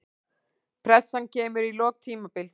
Pressan kemur í lok tímabils.